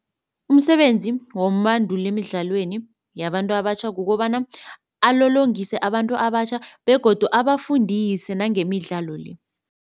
Umsebenzi wombanduli emidlalweni yabantu abatjha kukobana alolongise abantu abatjha begodu abafundise nangemidlalo le.